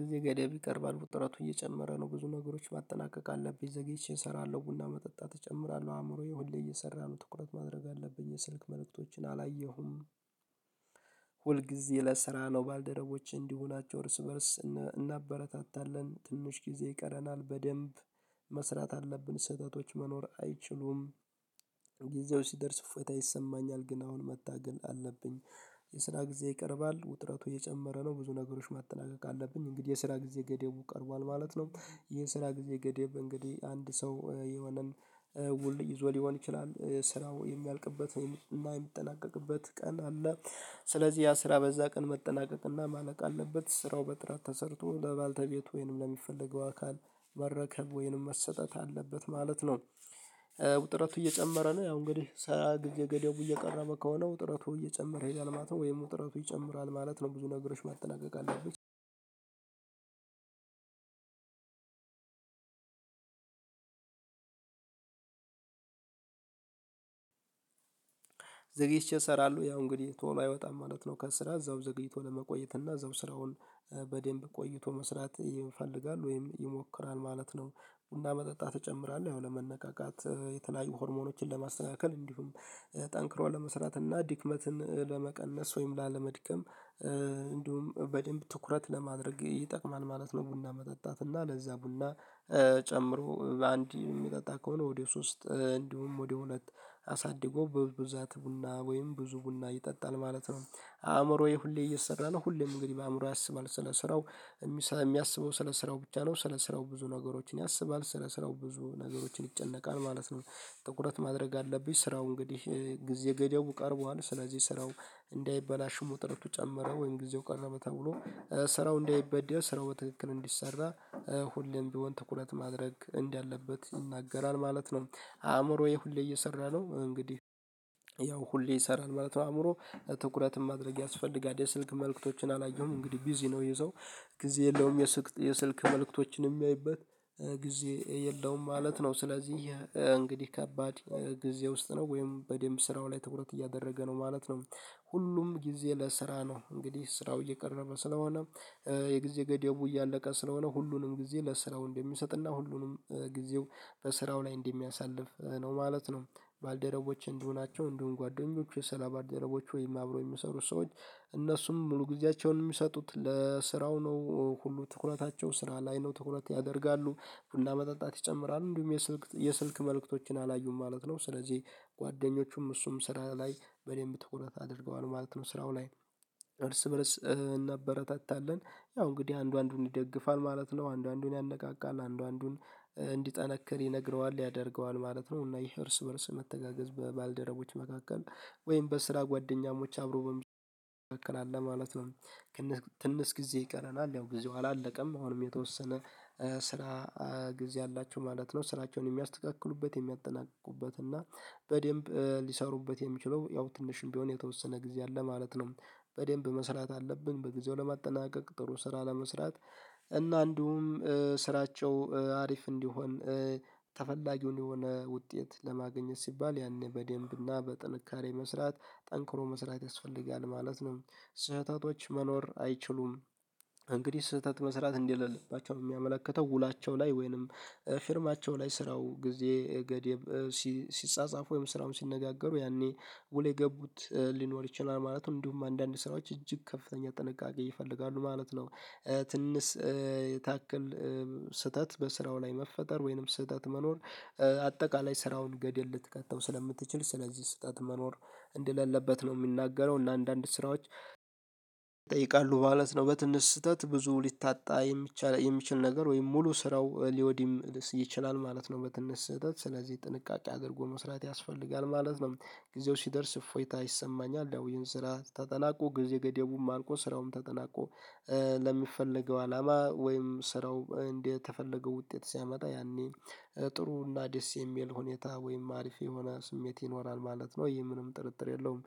ጊዜ ገደብ ይቀርባል። ውጥረቱ እየጨመረ ነው። ብዙ ነገሮች ማጠናቀቅ አለብኝ። ዘግይቼን እሰራለሁ። ቡና መጠጣት እጨምራለሁ። አእምሮዬ ሁሌ እየሰራ ነው። ትኩረት ማድረግ አለብኝ። የስልክ መልእክቶችን አላየሁም። ሁል ጊዜ ለስራ ነው። ባልደረቦች እንዲሁ ናቸው። እርስ በእርስ እናበረታታለን። ትንሽ ጊዜ ይቀረናል። በደንብ መስራት አለብን። ስህተቶች መኖር አይችሉም። ጊዜው ሲደርስ እፎይታ ይሰማኛል። ግን አሁን መታገል አለብኝ። የስራ ጊዜ ይቀርባል። ውጥረቱ እየጨመረ ነው። ብዙ ነገሮች ማጠናቀቅ አለብኝ። እንግዲህ የስራ ጊዜ ገደቡ ቀርቧል ማለት ነው። ይሄ የስራ ጊዜ ገደብ እንግዲህ አንድ ሰው የሆነን ውል ይዞ ሊሆን ይችላል። ስራው የሚያልቅበት ወይም የሚያጠናቀቅበት ቀን አለ። ስለዚህ ያ ስራ በዛ ቀን መጠናቀቅና ማለቅ አለበት። ስራው በጥራት ተሰርቶ ለባልተቤቱ ወይንም ለሚፈልገው አካል መረከብ ወይንም መሰጠት አለበት ማለት ነው። ውጥረቱ እየጨመረ ነው። ያው እንግዲህ ስራ ጊዜ ገደቡ እየቀረበ ከሆነ ውጥረቱ እየጨመረ ይሄዳል ማለት ነው ወይም ውጥረቱ ይጨምራል ማለት ነው። ብዙ ነገሮች ማጠናቀቅ አለብኝ። ዘግይቼ እሰራለሁ። ያው እንግዲህ ቶሎ አይወጣም ማለት ነው። ከስራ እዛው ዘግይቶ ለመቆየት እና እዛው ስራውን በደንብ ቆይቶ መስራት ይፈልጋል ወይም ይሞክራል ማለት ነው። ቡና መጠጣት ይጨምራል። ያው ለመነቃቃት የተለያዩ ሆርሞኖችን ለማስተናገር እንዲሁም ጠንክሮ ለመስራት እና ድክመትን ለመቀነስ ወይም ላለመድከም እንዲሁም በደንብ ትኩረት ለማድረግ ይጠቅማል ማለት ነው ቡና መጠጣት። እና ለዛ ቡና ጨምሮ በአንዴ የሚጠጣ ከሆነ ወደ ሶስት እንዲሁም ወደ ሁለት አሳድጎ በብዛት ቡና ወይም ብዙ ቡና ይጠጣል ማለት ነው። አእምሮዬ ሁሌ እየሰራ ነው። ሁሌም እንግዲህ በአእምሮ ያስባል ስለ ስራው የሚያስበው ስለ ስራው ብቻ ነው። ስለ ስራው ብዙ ነገሮችን ያስባል። ስለ ስራው ብዙ ነገሮችን ይጨነቃል ማለት ነው። ትቁረት ማድረግ አለብኝ። ስራው እንግዲህ ጊዜ ገደቡ ቀርቧል። ስለዚህ ስራው እንዳይበላሽ ውጥረቱ ጨመረ ወይም ጊዜው ቀረ በተብሎ ስራው እንዳይበደል ስራው በትክክል እንዲሰራ ሁሌም ቢሆን ትኩረት ማድረግ እንዳለበት ይናገራል ማለት ነው። አእምሮዬ ሁሌ እየሰራ ነው። እንግዲህ ያው ሁሌ ይሰራል ማለት ነው አእምሮ ትኩረትን ማድረግ ያስፈልጋል። የስልክ መልእክቶችን አላየሁም። እንግዲህ ቢዚ ነው ይህ ሰው ጊዜ የለውም፤ የስልክ መልእክቶችን የሚያይበት ጊዜ የለውም ማለት ነው። ስለዚህ እንግዲህ ከባድ ጊዜ ውስጥ ነው ወይም በደንብ ስራው ላይ ትኩረት እያደረገ ነው ማለት ነው። ሁሉም ጊዜ ለስራ ነው። እንግዲህ ስራው እየቀረበ ስለሆነ የጊዜ ገደቡ እያለቀ ስለሆነ ሁሉንም ጊዜ ለስራው እንደሚሰጥና ሁሉንም ጊዜው በስራው ላይ እንደሚያሳልፍ ነው ማለት ነው። ባልደረቦቼ እንዲሁ ናቸው። እንዲሁም ጓደኞቹ የሰራ ባልደረቦች ወይም አብሮ የሚሰሩ ሰዎች እነሱም ሙሉ ጊዜያቸውን የሚሰጡት ለስራው ነው። ሁሉ ትኩረታቸው ስራ ላይ ነው። ትኩረት ያደርጋሉ፤ ቡና መጠጣት ይጨምራሉ። እንዲሁም የስልክ የስልክ መልእክቶችን አላዩም ማለት ነው። ስለዚህ ጓደኞቹም እሱም ስራ ላይ በደንብ ትኩረት አድርገዋል ማለት ነው ስራው ላይ። እርስ በእርስ እናበረታታለን ያው እንግዲህ አንዱ አንዱን ይደግፋል ማለት ነው። አንዱ አንዱን ያነቃቃል። አንዱ አንዱን እንዲጠነከር ይነግረዋል ያደርገዋል ማለት ነው። እና ይህ እርስ በእርስ መተጋገዝ በባልደረቦች መካከል ወይም በስራ ጓደኛሞች አብሮ በሚችል መካከል ማለት ነው። ትንሽ ትንሽ ጊዜ ይቀረናል። ያው ጊዜው አላለቀም አሁንም የተወሰነ ስራ ጊዜ አላቸው ማለት ነው። ስራቸውን የሚያስተካክሉበት የሚያጠናቁበት እና በደንብ ሊሰሩበት የሚችለው ያው ትንሽም ቢሆን የተወሰነ ጊዜ አለ ማለት ነው። በደንብ መስራት አለብን። በጊዜው ለማጠናቀቅ ጥሩ ስራ ለመስራት እና እንዲሁም ስራቸው አሪፍ እንዲሆን ተፈላጊውን የሆነ ውጤት ለማግኘት ሲባል ያኔ በደንብና በጥንካሬ መስራት ጠንክሮ መስራት ያስፈልጋል ማለት ነው። ስህተቶች መኖር አይችሉም። እንግዲህ ስህተት መስራት እንደሌለባቸው ነው የሚያመለክተው። ውላቸው ላይ ወይንም ፊርማቸው ላይ ስራው ጊዜ ገደብ ሲጻጻፉ ወይም ስራውን ሲነጋገሩ ያኔ ውል የገቡት ሊኖር ይችላል ማለት ነው። እንዲሁም አንዳንድ ስራዎች እጅግ ከፍተኛ ጥንቃቄ ይፈልጋሉ ማለት ነው። ትንሽ ታክል ስህተት በስራው ላይ መፈጠር ወይንም ስህተት መኖር አጠቃላይ ስራውን ገድል ልትከተው ስለምትችል ስለዚህ ስህተት መኖር እንደሌለበት ነው የሚናገረው። እና አንዳንድ ስራዎች ማለት ነው በትንሽ ስህተት ብዙ ሊታጣ የሚችል ነገር ወይም ሙሉ ስራው ሊወድ ይችላል ማለት ነው በትንሽ ስህተት። ስለዚህ ጥንቃቄ አድርጎ መስራት ያስፈልጋል ማለት ነው። ጊዜው ሲደርስ እፎይታ ይሰማኛል። ይው ይህን ስራ ተጠናቆ ጊዜ ገደቡም አልቆ ስራውም ተጠናቆ ለሚፈለገው አላማ ወይም ስራው እንደተፈለገው ውጤት ሲያመጣ ያኔ ጥሩ እና ደስ የሚል ሁኔታ ወይም አሪፍ የሆነ ስሜት ይኖራል ማለት ነው። ይህ ምንም ጥርጥር የለውም።